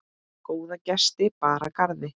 Góða gesti bar að garði.